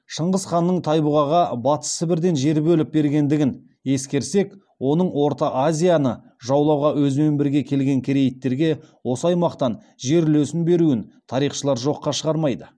шыңғыс ханның тайбұғаға батыс сібірден жер бөліп бергендігін ескерсек оның орта азияны жаулауға өзімен бірге келген керейттерге осы аймақтан жер үлесін беруін тарихшылар жоққа шығармайды